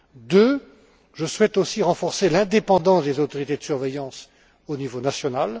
Deuxièmement, je souhaite aussi renforcer l'indépendance des autorités de surveillance au niveau national.